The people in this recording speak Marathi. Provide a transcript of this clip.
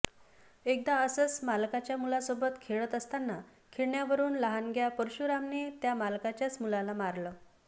एकदा असंच मालकाच्या मुलासोबत खेळत असताना खेळण्यावरून लहानग्या परशुरामने त्या मालकाच्याच मुलाला मारलंं